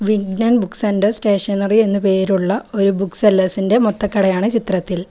Vighnan book centre stationery എന്ന് പേരുള്ള ഒരു ബുക്ക് സെല്ലേഴ്സി ന്റെ മൊത്തകടയാണ് ചിത്രത്തിൽ.